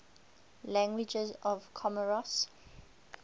languages of comoros